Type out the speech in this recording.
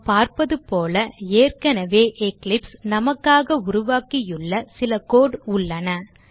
நாம் பார்ப்பது போல ஏற்கனவே எக்லிப்ஸ் நமக்காக உருவாக்கியுள்ள சில கோடு உள்ளன